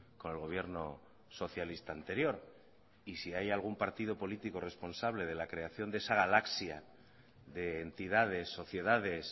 con el gobierno socialista anterior y si hay algún partido político responsable de la creación de esa galaxia de entidades sociedades